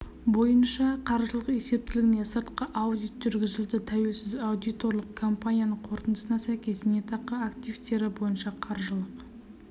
бойынша қаржылық есептілігіне сыртқы аудит жүргізілді тәуелсіз аудиторлық компанияның қорытындысына сәйкес зейнетақы активтері бойынша қаржылық